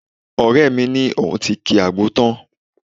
Ọ̀rẹ́ mi sọ pé òun ti ki àgbo tán